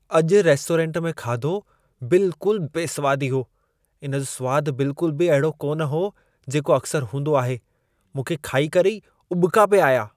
अॼु रेस्टोरेंटु में खाधो बिल्कुल बेसवादी हो। इन जो सुवादु बिल्कुल बि ओहिड़ो कान हो, जेको अक्सर हूंदो आहे। मूंखे खाई करे ई उॿिका पिए आया।